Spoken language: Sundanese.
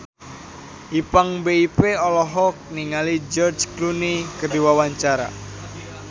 Ipank BIP olohok ningali George Clooney keur diwawancara